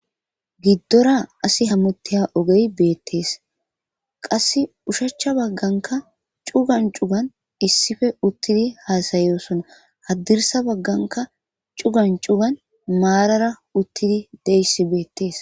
Giddora asi hamutteya ogey beettees qass ushachcha bagganka cugan cugan issife uttidi haasayosona haddirsa bagganka cugan cugan maarara uttidi deyssi beettees